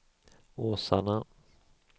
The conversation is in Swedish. Åsarna